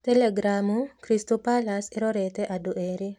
(Telegramu) Crystal Palace ĩrorete andũ erĩ.